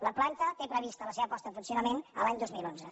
la planta té prevista la seva posta en funcio·nament l’any dos mil onze